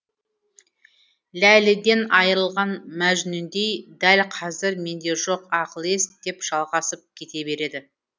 ләйліден айырылған мәжнүндейдәл қазір менде жоқ ақыл ес деп жалғасып кете береді